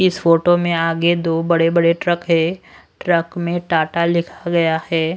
इस फोटो में आगे दो बड़े बड़े ट्रक है ट्रक में टाटा लिखा गया है।